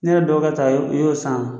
Ne yɛrɛ dɔgɔkɛ ta i y'o i y'o san a?